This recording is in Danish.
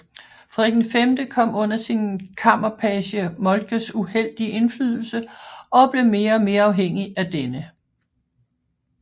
Frederik V kom under sin kammerpage Moltkes uheldige indflydelse og blev mere og mere afhængig af denne